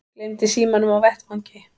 Gleymdi símanum á vettvangi